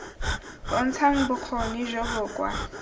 bontshang bokgoni jo bo kwa